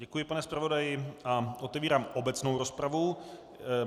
Děkuji, pane zpravodaji, a otevírám obecnou rozpravu.